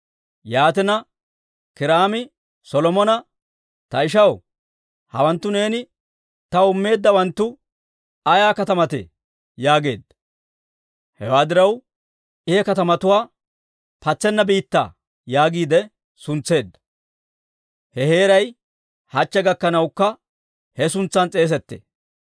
Yaatina, Kiiraami Solomona, «Ta ishaw, hawanttu neeni taw immeeddawanttu ayaa katamatee?» yaageedda. Hewaa diraw, I he katamatuwaa, «Patsenna biittaa» yaagiide suntseedda. He heeray hachche gakkanawukka he suntsan s'eesettee.